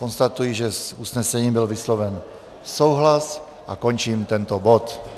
Konstatuji, že s usnesením byl vysloven souhlas, a končím tento bod.